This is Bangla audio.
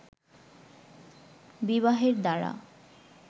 বিবাহের দ্বারা